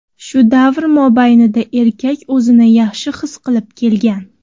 Shu davr mobaynida erkak o‘zini yaxshi his qilib kelgan.